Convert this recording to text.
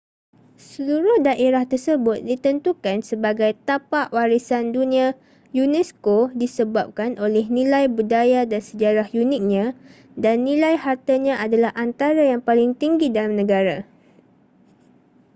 seluruh daerah tersebut ditentukan sebagai tapak warisan dunia unesco disebabkan oleh nilai budaya dan sejarah uniknya dan nilai hartanya adalah antara yang paling tinggi dalam negara